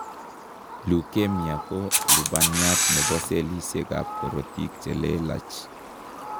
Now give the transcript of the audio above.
Leukemia ko lubaniat nebo cellisiek ab korotik chelelach